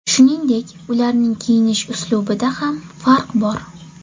Shuningdek, ularning kiyinish uslubida ham farq bor.